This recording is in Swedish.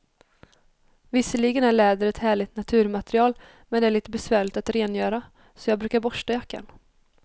Visserligen är läder ett härligt naturmaterial, men det är lite besvärligt att rengöra, så jag brukar borsta jackan.